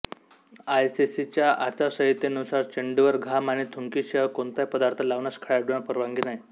आयसीसीच्या आचारसंहितेनुसार चेंडूवर घाम आणि थुंकीशिवाय कोणताही पदार्थ लावण्यास खेळाडूंना परवानगी नाही